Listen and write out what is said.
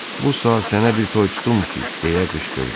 Bu saat sənə bir toy tutum ki, deyə qışqırdı.